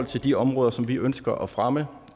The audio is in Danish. til de områder som vi ønsker at fremme